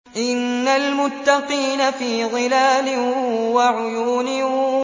إِنَّ الْمُتَّقِينَ فِي ظِلَالٍ وَعُيُونٍ